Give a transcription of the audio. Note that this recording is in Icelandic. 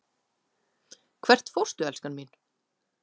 Hvert fórstu, elskan mín?